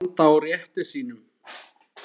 Standa á rétti sínum?